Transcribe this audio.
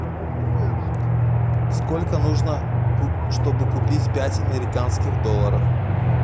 сколько нужно чтобы купить пять американских долларов